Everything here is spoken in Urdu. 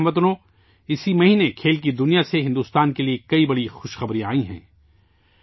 میرے پیارے ہم وطنو، اس مہینے کھیلوں کی دنیا سے بھارت کے لیے کئی بڑی خوش خبریاں آئی ہیں